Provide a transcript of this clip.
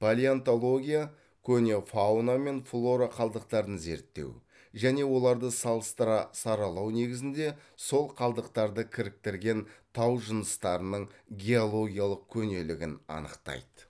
палеонтология көне фауна мен флора қалдықтарын зерттеу және оларды салыстыра саралау негізінде сол қалдықтарды кіріктірген тау жыныстарының геологиялық көнелігін анықтайды